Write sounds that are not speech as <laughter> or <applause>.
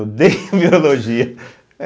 Eu odeio biologia. <laughs>